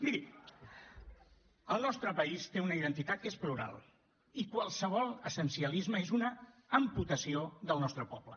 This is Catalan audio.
miri el nostre país té una identitat que és plural i qualsevol essencialisme és una amputació del nostre poble